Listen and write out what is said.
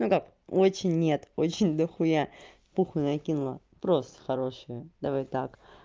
ну как очень нет очень дохуя пуха накинула просто хорошие давай так